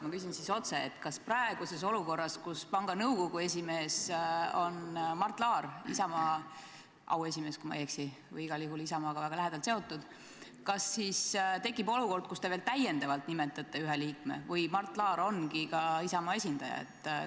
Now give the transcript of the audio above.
Ma küsin siis otse: kas praeguses olukorras, kus panga nõukogu esimees on Mart Laar – Isamaa auesimees, kui ma ei eksi, või igal juhul Isamaaga väga lähedalt seotud –, tekib olukord, kus te veel täiendavalt nimetate ühe liikme, või Mart Laar ongi ka Isamaa esindaja?